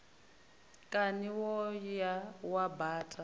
kani wo ya wa baṱa